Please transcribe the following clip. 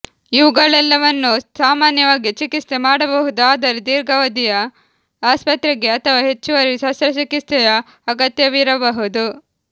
ಇವುಗಳೆಲ್ಲವನ್ನೂ ಸಾಮಾನ್ಯವಾಗಿ ಚಿಕಿತ್ಸೆ ಮಾಡಬಹುದು ಆದರೆ ದೀರ್ಘಾವಧಿಯ ಆಸ್ಪತ್ರೆಗೆ ಅಥವಾ ಹೆಚ್ಚುವರಿ ಶಸ್ತ್ರಚಿಕಿತ್ಸೆಯ ಅಗತ್ಯವಿರಬಹುದು